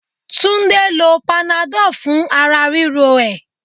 Túndé lo panadol fún ara ríro ẹ.